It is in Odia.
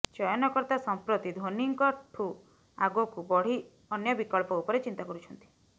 ଚୟନକର୍ତ୍ତା ସଂପ୍ରତି ଧୋନୀଙ୍କଠୁ ଆଗକୁ ବଢି ଅନ୍ୟ ବିକଳ୍ପ ଉପରେ ଚିନ୍ତା କରୁଛନ୍ତି